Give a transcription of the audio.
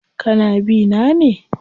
Kana bi na ne?